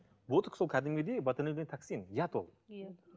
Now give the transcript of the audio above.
ботекс ол кәдімгідей токсин яд ол иә